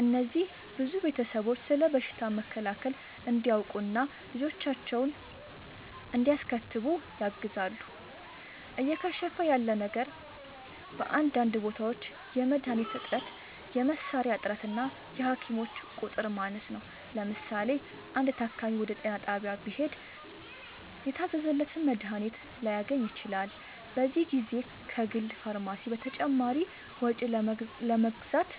እነዚህ ብዙ ቤተሰቦች ስለ በሽታ መከላከል እንዲያውቁ እና ልጆቻቸውን እንዲያስከትቡ ያግዛሉ። እየከሸፈ ያለ ነገር በአንዳንድ ቦታዎች የመድኃኒት እጥረት፣ የመሣሪያ እጥረት እና የሐኪሞች ቁጥር ማነስ ነው። ለምሳሌ፣ አንድ ታካሚ ወደ ጤና ጣቢያ ቢሄድ የታዘዘለትን መድኃኒት ላያገኝ ይችላል፤ በዚህ ጊዜ ከግል ፋርማሲ በተጨማሪ ወጪ ለመግዛት